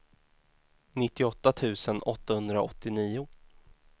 nittioåtta tusen åttahundraåttionio